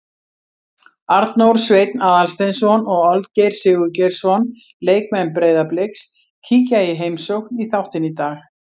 Arnór Sveinn Aðalsteinsson og Olgeir Sigurgeirsson, leikmenn Breiðabliks, kíkja í heimsókn í þáttinn í dag.